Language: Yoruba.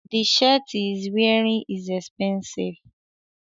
The shirt he is wearining is epensive